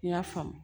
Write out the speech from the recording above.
N y'a faamu